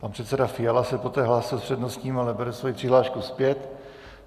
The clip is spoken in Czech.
Pan předseda Fiala se poté hlásí s přednostním, ale bere svoji přihlášku zpět.